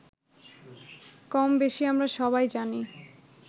কমবেশি আমরা সবাই জানি